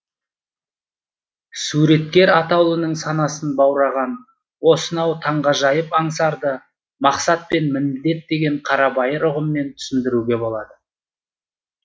суреткер атаулының санасын баураған осынау таңғажайып аңсарды мақсат пен міндет деген қарабайыр ұғыммен түсіндіруге болады